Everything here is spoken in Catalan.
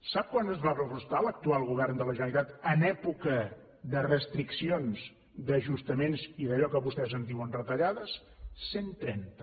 sap quant va pressupostar l’actual govern de la generalitat en època de restriccions d’ajustaments i d’allò que vostès en diuen retallades cent trenta